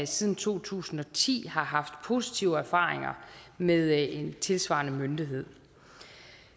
siden to tusind og ti har haft positive erfaringer med en tilsvarende myndighed